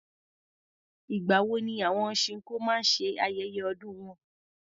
Ìgbà wo ni àwọn chinkó maá ṣe ayẹyẹ ọdún wọn?